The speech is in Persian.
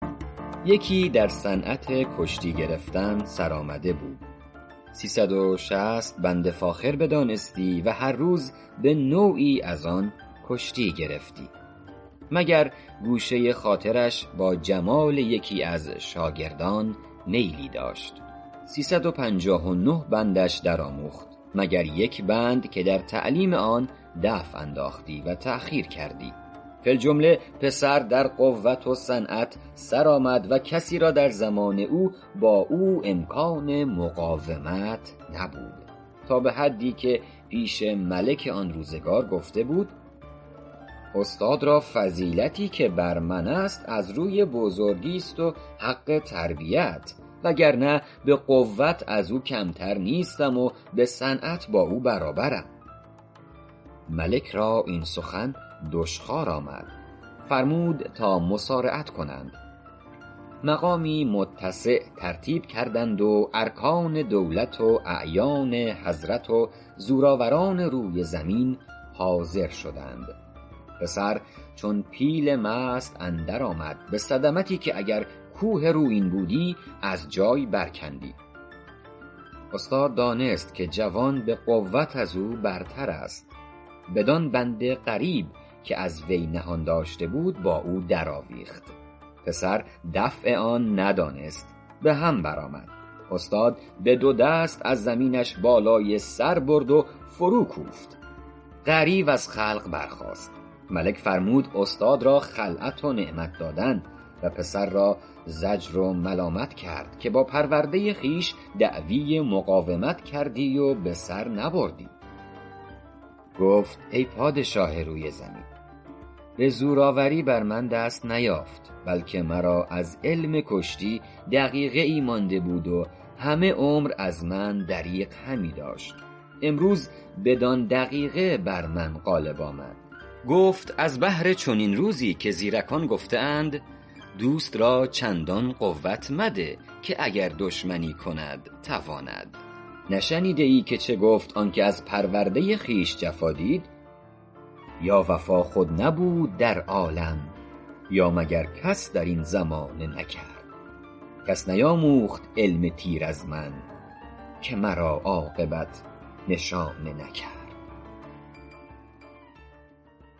یکی در صنعت کشتی گرفتن سرآمده بود سی صد و شصت بند فاخر بدانستی و هر روز به نوعی از آن کشتی گرفتی مگر گوشه خاطرش با جمال یکی از شاگردان میلی داشت سی صد و پنجاه و نه بندش در آموخت مگر یک بند که در تعلیم آن دفع انداختی و تأخیر کردی فی الجمله پسر در قوت و صنعت سر آمد و کسی را در زمان او با او امکان مقاومت نبود تا به حدی که پیش ملک آن روزگار گفته بود استاد را فضیلتی که بر من است از روی بزرگیست و حق تربیت وگرنه به قوت از او کمتر نیستم و به صنعت با او برابرم ملک را این سخن دشخوار آمد فرمود تا مصارعت کنند مقامی متسع ترتیب کردند و ارکان دولت و اعیان حضرت و زورآوران روی زمین حاضر شدند پسر چون پیل مست اندر آمد به صدمتی که اگر کوه رویین بودی از جای بر کندی استاد دانست که جوان به قوت از او برتر است بدان بند غریب که از وی نهان داشته بود با او در آویخت پسر دفع آن ندانست به هم بر آمد استاد به دو دست از زمینش بالای سر برد و فرو کوفت غریو از خلق برخاست ملک فرمود استاد را خلعت و نعمت دادن و پسر را زجر و ملامت کرد که با پرورنده خویش دعوی مقاومت کردی و به سر نبردی گفت ای پادشاه روی زمین به زورآوری بر من دست نیافت بلکه مرا از علم کشتی دقیقه ای مانده بود و همه عمر از من دریغ همی داشت امروز بدان دقیقه بر من غالب آمد گفت از بهر چنین روزی که زیرکان گفته اند دوست را چندان قوت مده که دشمنی کند تواند نشنیده ای که چه گفت آن که از پرورده خویش جفا دید یا وفا خود نبود در عالم یا مگر کس در این زمانه نکرد کس نیاموخت علم تیر از من که مرا عاقبت نشانه نکرد